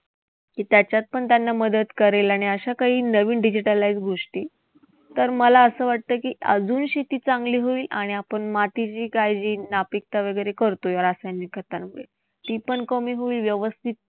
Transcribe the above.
की त्याच्यातपण त्यांना मदत करेल. आणि अशा काही नवीन digitalize गोष्टी तर मला असं वाटतं की, अजून शेती चांगली होईल आणि आपण मातीची काळजी, नापिकता वैगरे करतोय रासायनिक तीपण कमी होईल. व्यवस्थित